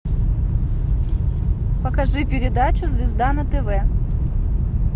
покажи передачу звезда на тв